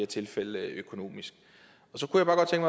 tilfælde økonomisk